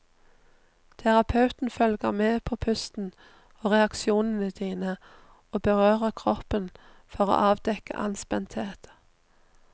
Terapeuten følger med på pusten og reaksjonene dine og berører kroppen for å avdekke anspenthet.